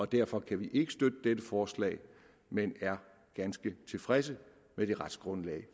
derfor kan vi ikke støtte dette forslag men er ganske tilfredse med det retsgrundlag